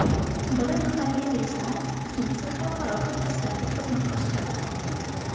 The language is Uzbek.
Biri mahalliy reyslar, ikkinchisi xalqaro parvozlarga xizmat ko‘rsatadi.